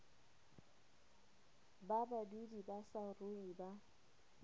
ba badudi ba saruri ba